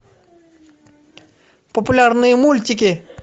популярные мультики